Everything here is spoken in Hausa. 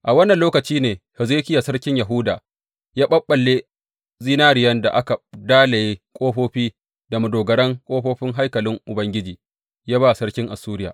A wannan lokaci ne Hezekiya sarkin Yahuda ya ɓaɓɓalle zinariyan da aka dalaye ƙofofi da madogaran ƙofofin haikalin Ubangiji, ya ba sarkin Assuriya.